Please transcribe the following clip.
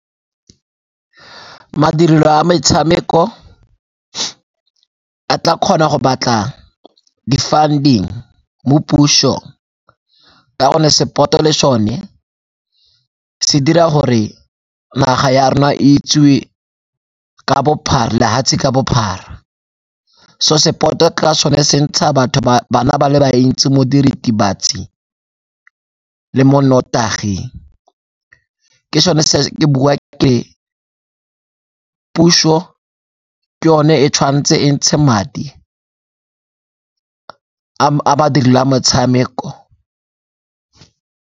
Madirelo a metshameko a tla kgona go batla di-funding mo puso ka gonne sport-o le sone se dira gore naga ya rona itsiwe lefatshe ka bophara. So sport-o o kry-a sone se ntsha batho, bana ba le bantsi mo diritibatsing le mo nnotaging. Ke sone se ke bua ke puso ke yone e tshwanetse e ntshe madi a badiri le a motshameko.